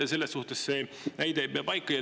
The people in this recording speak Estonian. Selles suhtes see väide ei pea paika.